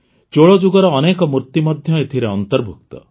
ଚୋଳଯୁଗର ଅନେକ ମୂର୍ତ୍ତି ମଧ୍ୟ ଏଥିରେ ଅନ୍ତର୍ଭୁକ୍ତ